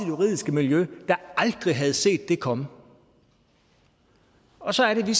juridiske miljø der aldrig havde set det komme og så er det